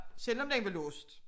Selvom den var låst